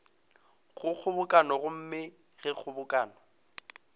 go kgobokano gomme ge kgobokano